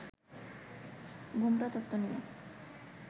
'ঘোমটা তত্ত্ব' নিয়ে